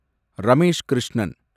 Ramesh Krishnan